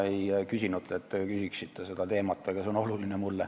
Ma ei palunud, et te sellel teemal küsiksite, aga see on mulle oluline.